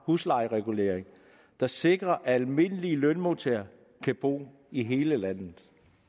huslejeregulering der sikrer at almindelige lønmodtagere kan bo i hele landet